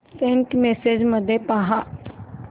Saint messages मध्ये पहा